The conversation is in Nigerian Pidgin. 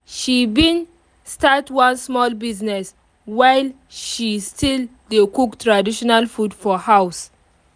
she been start one small business while she still dey cook traditional food for house